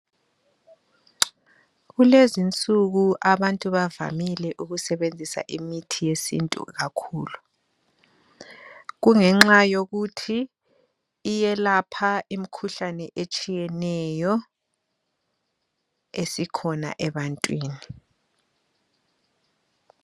Kulezinsuku abantu bavamile ukusebenzisa imithi yesiNtu kakhulu kungenxa yokuthi iyelapha imikhuhlane etshiyeneyo esikhona ebantwini.